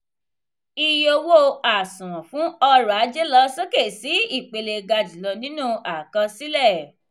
ìyè owó àsùnwòn fún ọrọ̀-ajé lọ sókè sí ìpele ga julọ nínú àkọsílẹ.